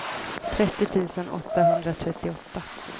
trettio tusen åttahundratrettioåtta